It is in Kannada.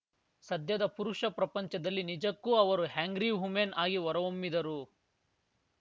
ಸದ್ಯದ ಪುರುಷ ಪ್ರಪಂಚದಲ್ಲಿ ನಿಜಕ್ಕೂ ಅವರು ಆ್ಯಂಗ್ರಿ ವುಮೆನ್‌ ಆಗಿ ಹೊರಹೊಮ್ಮಿದರು